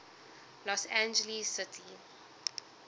los angeles city